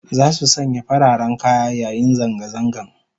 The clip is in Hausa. Zasu sanya fararen kaya yayin zanga zangan